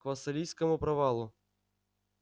к вассалийскому провалу